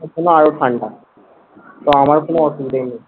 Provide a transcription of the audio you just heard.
ওখানে আরো ঠান্ডা। তো আমার কোনো অসুবিধাই নেই।